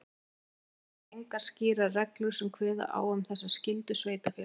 Hins vegar eru engar skýrar reglur sem kveða á um þessa skyldu sveitarfélaga.